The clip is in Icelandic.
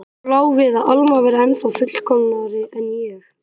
Það lá við að Alma væri ennþá fullkomnari en ég.